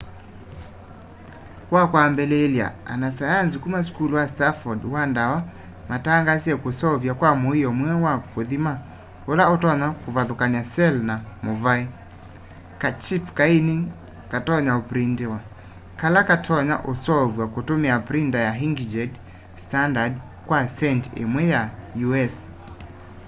wakwambiliilya anasayanzi kuma sukulu wa stanford wa dawa matangaasie kuseuvya kwa muio mweu wa kuthima ula utonya kuvathukanya cell na muvae : kachip kaini katonya uprinitiwa kala katonya usoovwa kutumia printa ya inkjet standard kwa centi imwe ya u.s